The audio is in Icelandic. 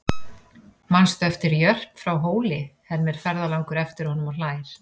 Manstu eftir Jörp frá Hóli, hermir ferðalangur eftir honum og hlær.